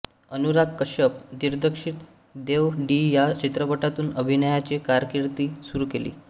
अनुराग कश्यप दिग्दर्शित देव डी या चित्रपटातून अभिनयाची कारकीर्द सुरू केली